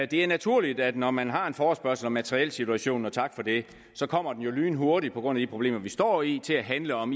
det er naturligt at når man har en forespørgsel om materielsituationen og tak for det så kommer den jo lynhurtigt på grund af de problemer vi står i til at handle om